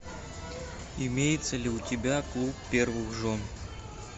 имеется ли у тебя клуб первых жен